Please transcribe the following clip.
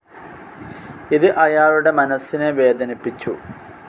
ഇത് അയാളുടെ മനസ്സിനെ വേദനിപ്പിച്ചു.